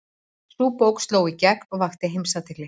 Sú bók sló í gegn og vakti heimsathygli.